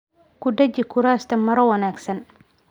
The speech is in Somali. Ku dhaji kuraasta maro wanaagsan.